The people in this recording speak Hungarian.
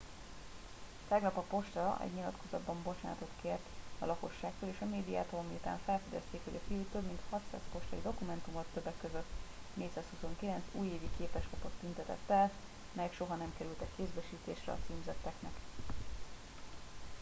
tegnap a posta egy nyilatkozatban bocsánatot kért a lakosságtól és a médiától miután felfedezték hogy a fiú több mint 600 postai dokumentumot többek közt 429 újévi képeslapot tüntetett el melyek soha nem kerültek kézbesítésre a címzetteknek